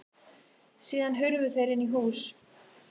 Síðan hurfu þeir inn í hús.